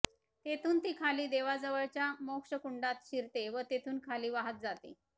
तिथून ती खाली देवाजवळच्या मोक्षकुंडात शिरते व तिथून खाली वाहत जाते